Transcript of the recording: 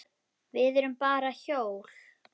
Við erum bara hjól.